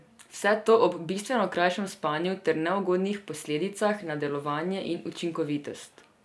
Vse to ob bistveno krajšem spanju ter neugodnih posledicah na delovanje in učinkovitost.